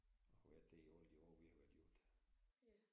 Og har været det i alle de år vi har været gift